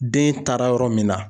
Den taara yɔrɔ min na.